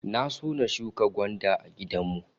Na so na shuka gwanda a gidan mu